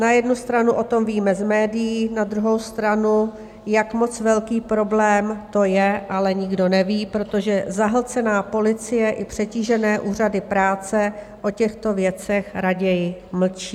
Na jednu stranu o tom víme z médií, na druhou stranu, jak moc velký problém to je, ale nikdo neví, protože zahlcená policie i přetížené úřady práce o těchto věcech raději mlčí.